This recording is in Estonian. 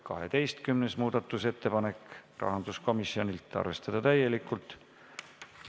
12. muudatusettepanek, rahanduskomisjonilt, arvestada täielikult.